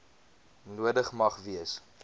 nodig mag wees